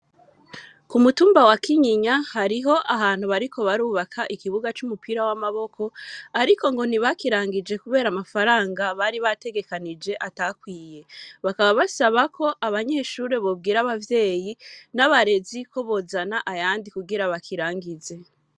Ku mutumba wa Kinyinya, hariho ahantu, bariko barubaka, ikibuga c'umupira w'amaboko, ariko ngo ntibakirangije, kubera amafaranga, bari bategekanije, atakwiye; bakaba basaba ko, abanyeshure bobwira abavyeyi, n'abarezi, ko bozana ayandi, kugira bakirangize.